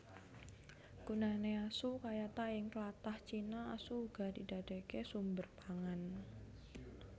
Gunané asu kayata Ing tlatah Cina asu uga didadèkaké sumber pangan